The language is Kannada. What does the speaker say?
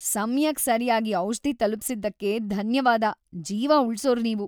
ಸಮಯಕ್ ಸರ್ಯಾಗಿ ಔಷಧಿ ತಲುಪ್ಸಿದ್ದಕ್ಕೆ ಧನ್ಯವಾದ. ಜೀವ ಉಳ್ಸೋರ್ ನೀವು.